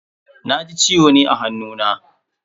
Na ji ciwo ne a hannuna.